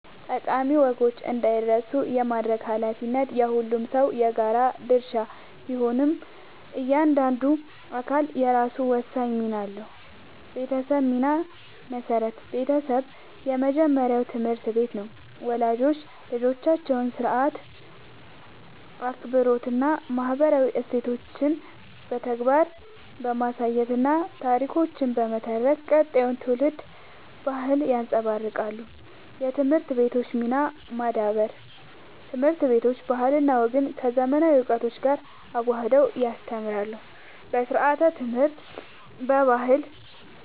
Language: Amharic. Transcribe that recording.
ጠቃሚ ወጎች እንዳይረሱ የማድረግ ኃላፊነት የሁሉም ሰው የጋራ ድርሻ ቢሆንም፣ እያንዳንዱ አካል የራሱ ወሳኝ ሚና አለው፦ የቤተሰብ ሚና (መሠረት)፦ ቤተሰብ የመጀመሪያው ትምህርት ቤት ነው። ወላጆች ልጆቻቸውን ሥርዓት፣ አክብሮትና ማህበራዊ እሴቶችን በተግባር በማሳየትና ታሪኮችን በመተረክ ቀጣዩን ትውልድ በባህል ያንጻሉ። የትምህርት ቤቶች ሚና (ማዳበር)፦ ትምህርት ቤቶች ባህልና ወግን ከዘመናዊ እውቀት ጋር አዋህደው ያስተምራሉ። በስርዓተ-ትምህርት፣ በባህል